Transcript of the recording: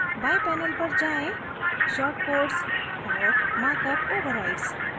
बाएं panel पर जाएँ shortcodes और markup overrides